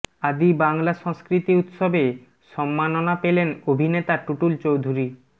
আদি বাংলা সংস্কৃতি উৎসবে সম্মাননা পেলেন অভিনেতা টুটুল চৌধুরী